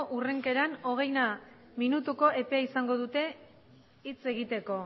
hurrenkeran hogeina minutuko epea izango dute hitz egiteko